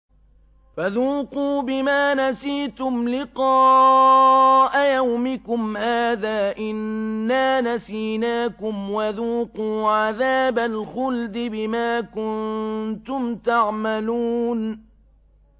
فَذُوقُوا بِمَا نَسِيتُمْ لِقَاءَ يَوْمِكُمْ هَٰذَا إِنَّا نَسِينَاكُمْ ۖ وَذُوقُوا عَذَابَ الْخُلْدِ بِمَا كُنتُمْ تَعْمَلُونَ